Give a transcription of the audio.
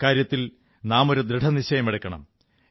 അക്കാര്യത്തിൽ നാം ഒരു ദൃഢനിശ്ചയമെടുക്കണം